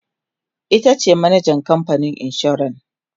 itace manajan kamfanin insuran